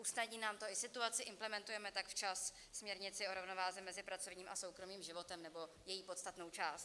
Usnadní nám to i situaci, implementujeme tak včas směrnici o rovnováze mezi pracovním a soukromým životem nebo její podstatnou část.